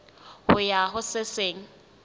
ho ya ho se seng